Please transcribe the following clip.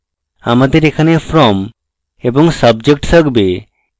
আমাদের এখানে from এবং subject থাকবে